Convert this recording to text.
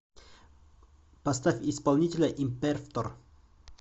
поставь исполнителя импервтор